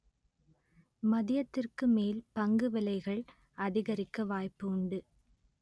மதியத்திற்கு மேல் பங்கு விலைகள் அதிகரிக்க வாய்ப்பு உண்டு